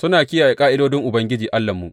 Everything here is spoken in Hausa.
Muna kiyaye ƙa’idodin Ubangiji Allahnmu.